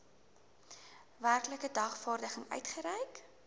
werklike dagvaarding uitgereik